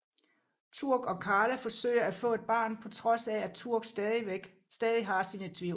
Turk og Carla forsøger at få et barn på trods af at Turk stadig har sine tvivl